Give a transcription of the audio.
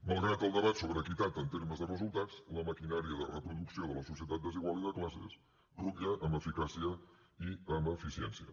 malgrat el debat sobre equitat en termes de resultats la maquinària de reproducció de la societat desigual i de classes rutlla amb eficàcia i amb eficiència